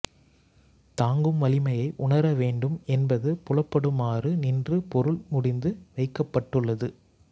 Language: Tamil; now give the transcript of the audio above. தாங்கும் வலிமையை உணரவேண்டும் என்பது புலப்படுமாறு நின்று பொருள் முடிந்து வைக்கப்பட்டுள்ளது